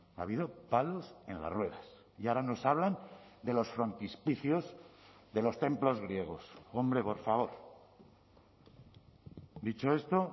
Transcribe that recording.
ha habido palos en las ruedas y ahora nos hablan de los frontispicios de los templos griegos hombre por favor dicho esto